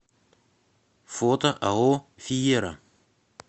фото ао фиера